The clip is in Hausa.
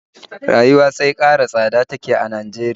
Rayuwa sai ƙara tsada take a Najeriya